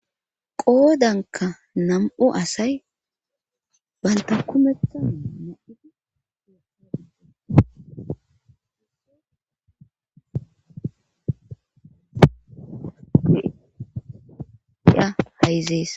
Qoodanka nam7u asay baynta kumethaada hayzees.